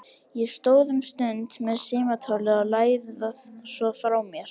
Ég stóð um stund með símtólið og lagði það svo frá mér.